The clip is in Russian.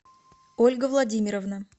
ольга владимировна